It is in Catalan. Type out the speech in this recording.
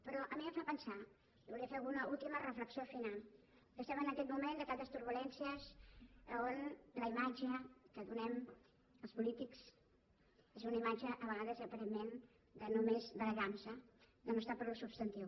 però a mi em fa pensar volia fer una última reflexió final que estem en aquest moment de tantes turbulències on la imatge que donem els polítics és una imatge a vegades aparentment de només barallar nos de no estar pel substantiu